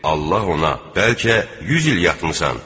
Allah ona: Bəlkə 100 il yatmısan.